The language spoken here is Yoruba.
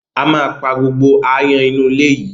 A ma pa gbogbo áyán inú ilé yìí.